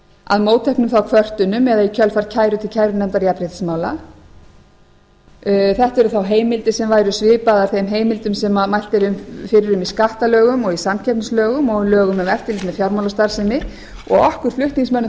að mótteknum þá kvörtunum eða í kjölfar kæru til kærunefndar jafnréttismála þetta eru þá heimildir sem væru svipaðar þeim heimildum sem mælt er fyrir um í skattalögum og í samkeppnislögum og lögum um eftirlit með fjármálastarfsemi og okkur flutningsmönnum